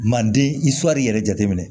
Manden i shɔri yɛrɛ jateminɛ